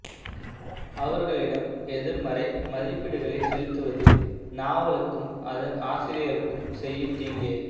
அவர்களிடம் எதிர்மறை மதிப்பீடுகளை செலுத்துவது நாவலுக்கும் அதன் ஆசிரியருக்கும் செய்யும் தீங்கே